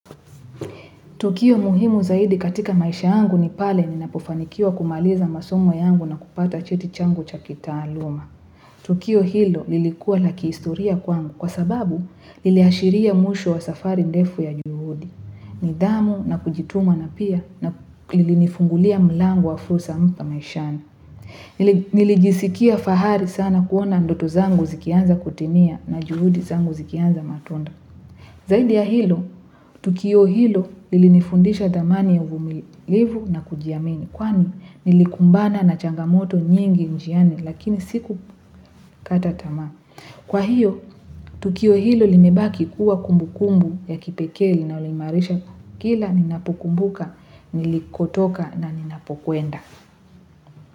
Tukio muhimu zaidi katika maisha yangu ni pale ninapofanikiwa kumaliza masomo yangu na kupata cheti changu cha kitaaluma. Tukio hilo lilikuwa la kiistoria kwangu kwa sababu liliashiria mwisho wa safari ndefu ya juhudi. Nidhamu na kujituma na pia na ilinifungulia milango wa fursa mpya maishani. Nilijisikia fahari sana kuona ndoto zangu zikianza kutimia na juhudi zangu zikianza matunda. Zaidi ya hilo, tukio hilo lilinifundisha dhamani ya uvumilivu na kujiamini kwani nilikumbana na changamoto nyingi njiani lakini sikukata tama. Kwa hiyo, tukio hilo limebaki kuwa kumbukumbu ya kipekee linayoimarisha kila ninapukumbuka, nilikotoka na ninapokwenda.